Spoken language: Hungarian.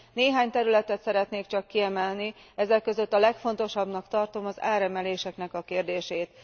Néhány területet szeretnék csak kiemelni, ezek között a legfontosabbnak tartom az áremeléseknek a kérdését.